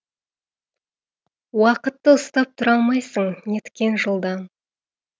уақытты ұстап тұра алмайсың неткен жылдам